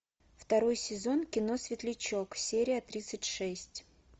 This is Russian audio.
второй сезон кино светлячок серия тридцать шесть